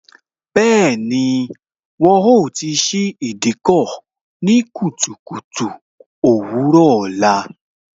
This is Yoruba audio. Bẹẹni, wọn ó ti ṣí Ìdíkọ̀ ní kùtùkùtù òwúrò ọ̀la